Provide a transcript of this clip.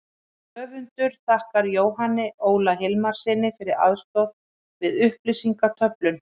Höfundur þakkar Jóhanni Óla Hilmarssyni fyrir aðstoð við upplýsingaöflun.